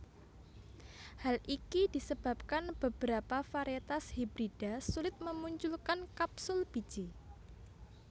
Hal ini disebabkan beberapa varietas hibrida sulit memunculkan kapsul biji